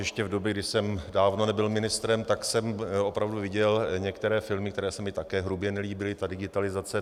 Ještě v době, kdy jsem dávno nebyl ministrem, tak jsem opravdu viděl některé filmy, které se mi také hrubě nelíbily, ta digitalizace.